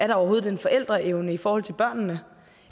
der overhovedet er en forældreevne i forhold til børnene